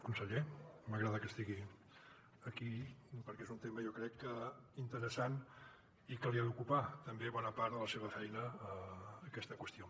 conseller m’agrada que estigui aquí perquè és un tema jo crec que interessant i que ha d’ocupar també bona part de la seva feina aquesta qüestió